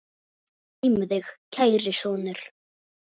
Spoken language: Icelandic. Guð geymi þig, kæri sonur.